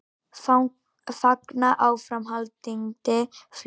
Fagna áframhaldandi flugi